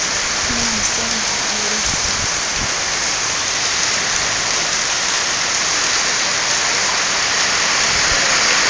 na mosadi ha e le